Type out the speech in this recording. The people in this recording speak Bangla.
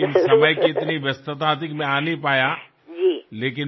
কিন্তু এত বেশী ব্যস্ততা ছিল যে আমি সময় করে উঠতে পারিনি